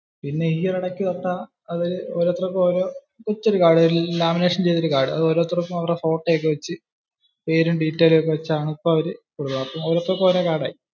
പിന്നെ ഈ ഒരു ഇടയ്ക് തോട്ടാ ഓരോരുത്തർക്കും ഓരോ ഒരു കാർഡ്, lamination ചെയ്ത് ഒരു കാർഡ്, ഓരോരുത്തർക്കും അവരുടെ ഫോട്ടോ ഒക്കെ വെച്ച്, പേരും detailsum ഒക്കെ വെച്ച് വെച്ചാണ് ഇപ്പോ അവര് കൊടുക്കാറ്. ഓരോരുത്തർക്കും ഓരോ കാർഡ് ആയി.